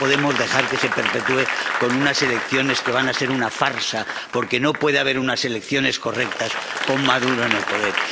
No podemos dejar que se perpetúe con unas elecciones que van a ser una farsa, porque no puede haber unas elecciones correctas con Maduro en el poder.